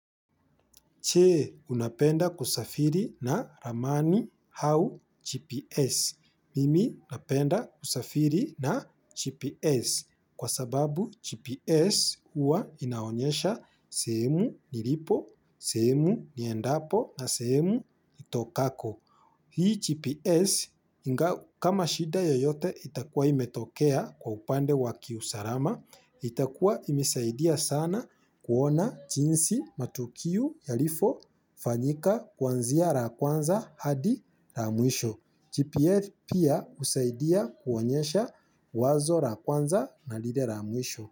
Che unapenda kusafiri na ramani hau GPS. Mimi napenda kusafiri na GPS kwa sababu GPS uwa inaonyesha sehemu nilipo, sehemu niendapo na semu itokako. Hii GPS, kama shida yoyote itakua imetokea kwa upande wakiusarama, itakua imesaidia sana kuona chinsi matukiu yalifofanyika kwanzia ra kwanza hadi ra mwisho. GPS pia usaidia kuwonyesha wazo ra kwanza na lile ramwisho.